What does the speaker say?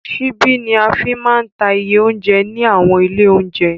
Ṣíbí ní a fí máa ń ta iye óunjẹ ní àwọn ilé óunjẹ.